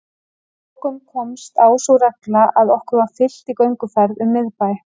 Að lokum komst á sú regla að okkur var fylgt í gönguferð um miðbæ